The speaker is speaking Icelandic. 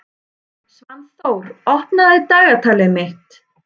Svanþór, opnaðu dagatalið mitt.